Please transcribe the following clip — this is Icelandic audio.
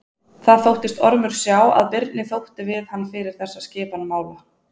Það þóttist Ormur sjá að Birni þótti við hann fyrir þessa skipan mála.